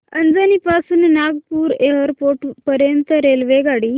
अजनी पासून नागपूर एअरपोर्ट पर्यंत रेल्वेगाडी